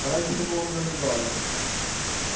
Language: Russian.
а раньше такого не наблюдалось